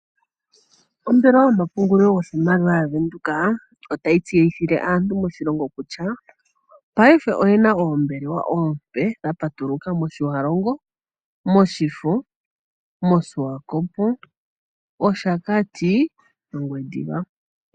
Ombelewa yomapungululo yoshimaliwa ya Venduka otayi tseyithile aantu moshilongo kutya payife oyena oombelewa oompe dha patuluka moTjiwarongo ,Oshifo, Swakopmund, Oshakati, Ongwediva.